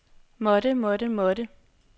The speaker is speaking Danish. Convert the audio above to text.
måtte måtte måtte